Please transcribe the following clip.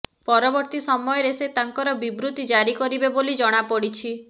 ପରବର୍ତୀ ସମୟରେ ସେ ତାଙ୍କର ବିବୃତି ଜାରି କରିବେ ବୋଲି ଜଣାପଡିଛି